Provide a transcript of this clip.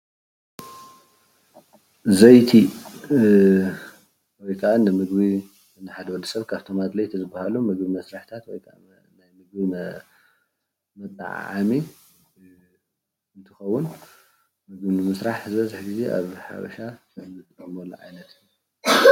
ዘይቲ ወይ ከዓ ንሓደ ወድሰብ ንምግቢ መጠዓዓሚ እንጥቀመሉ እዩ።